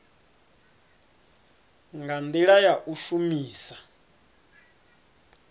nga ndila ya u shumisa